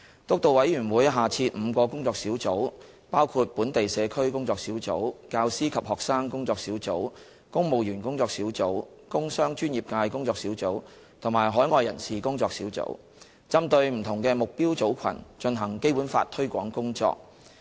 督導委員會下設5個工作小組，包括本地社區工作小組、教師及學生工作小組、公務員工作小組、工商專業界工作小組及海外人士工作小組，針對不同的目標組群進行《基本法》推廣工作。